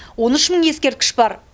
он үш мың ескерткіш бар